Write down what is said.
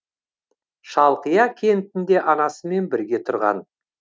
шалқия кентінде анасымен бірге тұрған